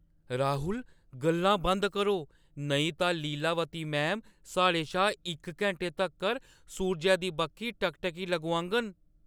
राहुल! गल्लां बंद करो, नेईं तां लीलावती मैम साढ़े शा इक घैंटे तक्कर सूरजै दी बक्खी टकटकी लगोआङन।